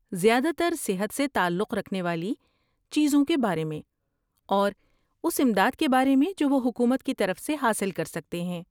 زیادہ تر صحت سے تعلق رکھنے والی چیزوں کے بارے میں اور اس امداد کے بارے میں جو وہ حکومت کی طرف سے حاصل کر سکتے ہیں۔